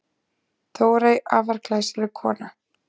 Þórey, afar glæsileg kona.